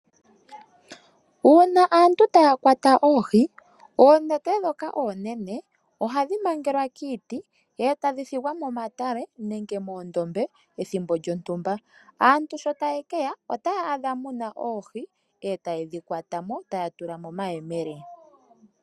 Uuna aantu taya kwata oohi, oonete ndhoka oonene ohadhi mangelwa kiiti e ta dhi thigwa momatale nenge moondombe ethimbo lyontumba. Aantu sho taye ke ya otaya adha mu na oohi e taye dhi kwata mo tuya tula momayemele.